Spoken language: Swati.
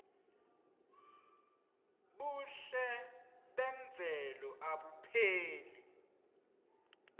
buhle memvelo abupheli